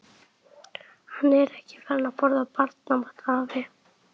Hann er ekki farinn að borða barnamat, afi.